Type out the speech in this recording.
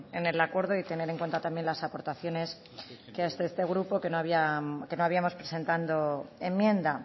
en el acuerdo y tener en cuenta las aportaciones que desde este grupo que no habíamos presentado enmienda